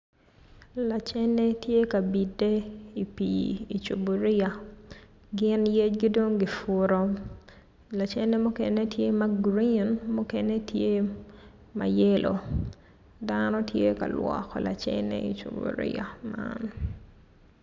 Lacenne tye ka bide i pii i cuburia gin yecgi dong kiputo lacenne mukene tye ma girin mukene tye ma yelo dano tye ka lwoko lanen i cuburia man.